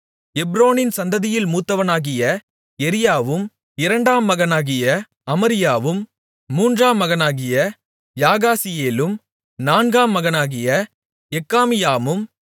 எப்ரோனின் சந்ததியில் மூத்தவனாகிய எரியாவும் இரண்டாம் மகனாகிய அமரியாவும் மூன்றாம் மகனாகிய யாகாசியேலும் நான்காம் மகனாகிய எக்காமியாமும்